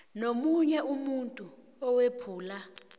nomunye umuntu owephula